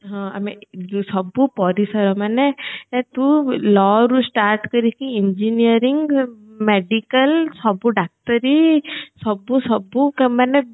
ହଁ ଆମେ ସବୁ ପରିସର ମାନେ ତୁ lawରୁ start କରିକି engineering medical ସବୁ ଡାକ୍ତରୀ ସବୁ ସବୁ ମାନେ